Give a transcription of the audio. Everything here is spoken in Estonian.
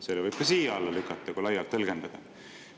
Selle võib ka sinna alla lükata, kui seda laialt tõlgendada.